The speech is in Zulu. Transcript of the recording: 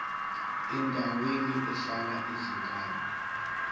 endaweni ehlala izingane